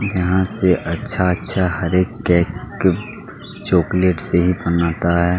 जहाँ से अच्छा-अच्छा हरेक केक चोकलेट से ही बनाता है।